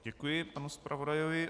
Děkuji panu zpravodajovi.